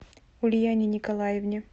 ульяне николаевне